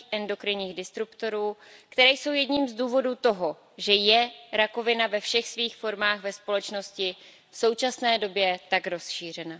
endokrinních disruptorů, které jsou jedním z důvodů toho, že je rakovina ve všech svých formách ve společnosti v současné době tak rozšířena.